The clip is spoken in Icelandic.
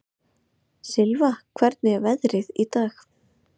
Silfa, hvernig er veðrið í dag?